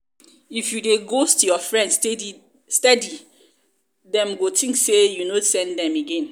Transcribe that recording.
if you dey ghost your friend steady dem go think sey you no send them again